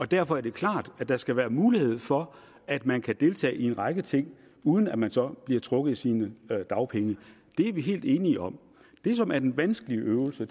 derfor er det klart at der skal være mulighed for at man kan deltage i en række ting uden at man så bliver trukket i sine dagpenge det er vi helt enige om det som er den vanskelige øvelse